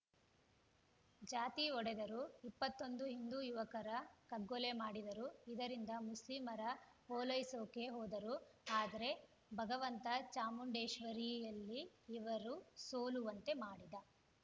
ಜಾತಿ ಒಡೆದರು ಇಪ್ಪತ್ತೊಂದು ಹಿಂದು ಯುವಕರ ಕಗ್ಗೊಲೆ ಮಾಡಿದರು ಇದರಿಂದ ಮುಸ್ಲಿಮರ ಓಲೈಸೋಕೆ ಹೋದರು ಆದ್ರೆ ಭಗವಂತ ಚಾಮುಂಡೇಶ್ವರಿಯಲ್ಲಿ ಇವರು ಸೋಲುವಂತೆ ಮಾಡಿದ